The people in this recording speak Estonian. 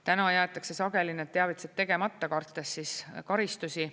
Täna jäetakse sageli need teavitused tegemata, kartes karistusi.